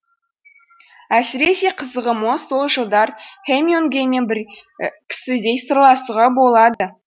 әсіресе қызығы мол сол жылдар хемингуэймен бір кісідей сырласуға болады